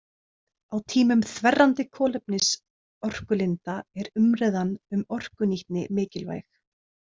Á tímum þverrandi kolefnisorkulinda er umræðan um orkunýtni mikilvæg.